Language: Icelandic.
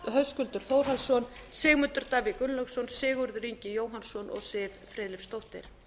höskuldur þórhallsson sigmundur davíð gunnlaugsson sigurður ingi jóhannsson og siv friðleifsdóttir